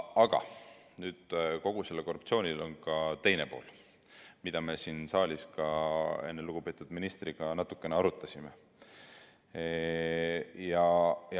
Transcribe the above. Aga kogu sellel korruptsioonil on ka teine pool, mida me enne siin saalis lugupeetud ministriga natukene arutasime.